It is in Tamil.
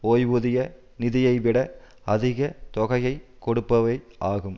ஓய்வூதிய நிதியைவிட அதிக தொகையை கொடுப்பவை ஆகும்